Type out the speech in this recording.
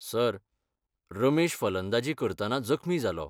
Sir, Ramesh फलंदाजी करतना जखमी जालो.